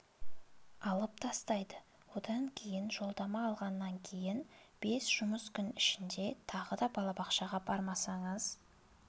алып тастайды одан кейін жолдама алғаннан кейін бес жұмыс күн ішінде тағы да балабақшаға бармасаңыз